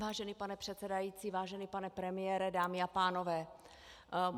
Vážený pane předsedající, vážený pane premiére, dámy a pánové.